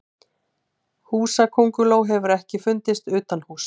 Húsakönguló hefur ekki fundist utanhúss.